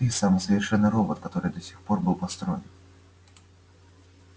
ты самый совершенный робот который до сих пор был построен